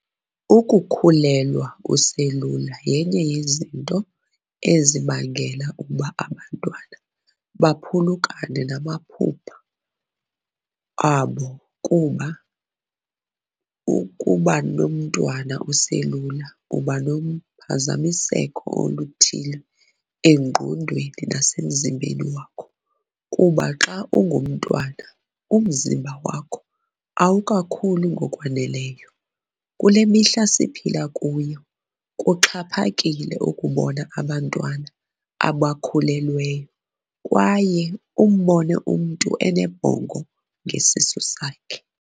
Ukukhulelwa uselula yenye yezinto ezibangela uba abantwana baphulukane namaphupha abo, kuba ukubanomntwana uselula uba nophazamiseko oluthile engqondweni nasemzimbeni wakho kuba xa ungumntwana umzimba wakho awuka khuli ngokwaneleyo .Kule mihla siphila kuyo kuxhaphakile ukubona abantwana abakhulelweyo kwaye umbone umntu unebhongo ngesisu sakhe.